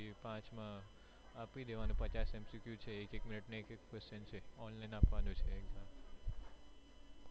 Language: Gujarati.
પાંચ માં આપી દેવાનું પચાસ MCQ છે એક એક મિનીટ નું એક question છે online આપવાનું છે exam